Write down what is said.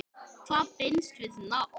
Hvað binst við nafn?